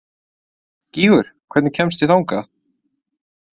Gígur, hvernig kemst ég þangað?